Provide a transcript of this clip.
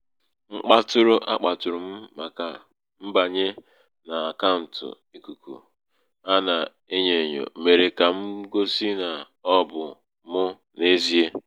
mkpatụṛụ a kpàtụ̀ụ̀rụ m màkà mbànye n’àkàụ̀ǹtụ̀ ìkùkù a nà-enyō ènyò mèrè kà m gosi nà ọ bụ̀ mụ n’ezie.